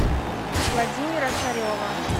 владимира царева